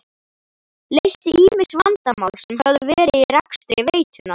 Leysti ýmis vandamál sem höfðu verið í rekstri veitunnar.